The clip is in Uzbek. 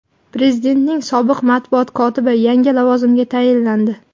Prezidentning sobiq matbuot kotibi yangi lavozimga tayinlandi.